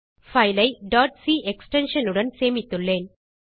file ஐ c extension உடன் சேமித்துள்ளேன்